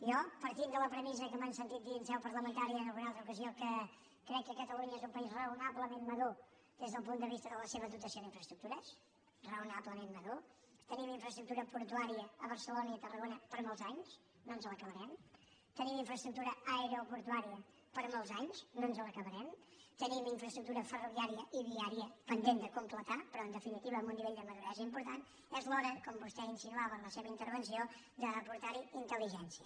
jo partint de la premissa que m’han sentit dir en seu parlamentària en alguna altra ocasió que crec que catalunya és un país raonablement madur des del punt de vista de la seva dotació d’infraestructures raonablement madur tenim infraestructura portuària a barcelona i a tarragona per a molts anys no ens l’acabarem tenim infraestructura aeroportuària per a molts anys no ens l’acabarem tenim infraestructura ferroviària i viària pendent de completar però en definitiva amb un nivell de maduresa important és l’hora com vostè insinuava en la seva intervenció d’aportar hi intelligència